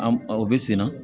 An o bɛ sen na